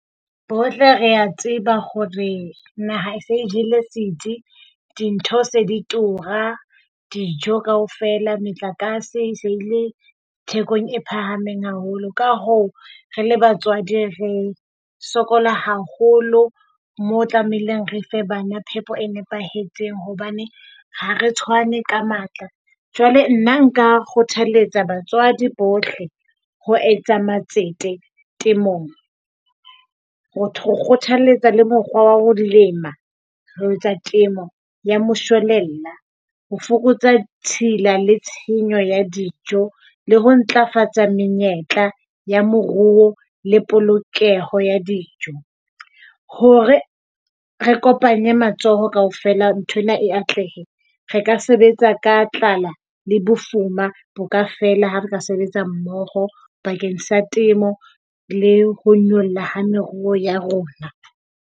Bohle re a tseba hore naha e se jele setsi. Dintho se di tura. Dijo kaofela, motlakase e se e le thekong e phahameng haholo. Ka hoo, re le batswadi re sokola haholo moo o tlamehileng re fe bana phepo e nepahetseng hobane ha re tshwane ka matla. Jwale nna nka kgothaletsa batswadi bohle ho etsa matsete temong, ho kgothaletsa le mokgwa wa ho lema. Ho etsa temo ya moshwelella. Ho fokotsa tshila le tshenyo ya dijo le ho ntlafatsa menyetla ya moruo le polokeho ya dijo. Hore re kopanye matsoho kaofela, nthwena e atlehe, re ka sebetsa ka tlala. Le bofuma bo ka fela ha re sebetsa mmoho bakeng sa temo le ho nyolla ha meruo ya rona.